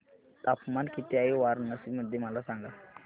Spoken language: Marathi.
तापमान किती आहे वाराणसी मध्ये मला सांगा